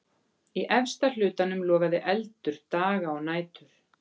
Í efsta hlutanum logaði eldur daga og nætur.